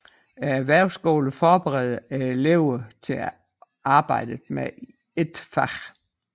Erhvervsskolerne forbereder eleverne til arbejdet med et fag